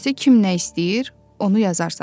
İkincisi kim nə istəyir, onu yazarsan.